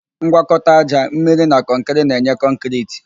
Ngwakọta ájá, mmiri na kọnkịrị na-enye kọnkịriti